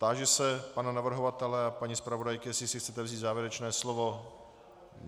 Táži se pana navrhovatele a paní zpravodajky, jestli si chcete vzít závěrečné slovo.